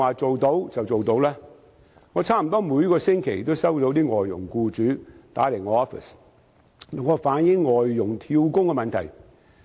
我的辦公室差不多每星期也接到外傭僱主來電，要求我反映外傭"跳工"的問題。